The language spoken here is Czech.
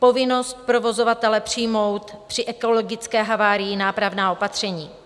Povinnost provozovatele přijmout při ekologické havárii nápravná opatření.